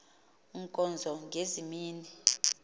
nkonzo ngezi mini